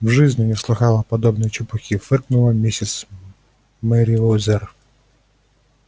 в жизни не слыхала подобной чепухи фыркнула миссис мерриуэзер